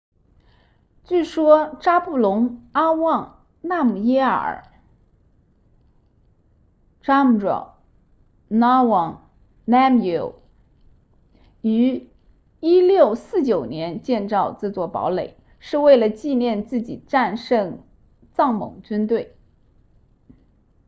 据说扎布隆阿旺纳姆耶尔 zhabdrung nawang namgyel 于1649年建造这座堡垒是为了纪念自己战胜藏蒙军队